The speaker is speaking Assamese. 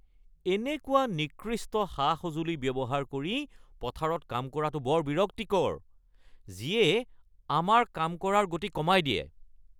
এনেকুৱা নিকৃষ্ট সা-সঁজুলি ব্যৱহাৰ কৰি পথাৰত কাম কৰাটো বৰ বিৰক্তিকৰ যিয়ে আমাৰ কাম কৰাৰ গতি কমাই দিয়ে।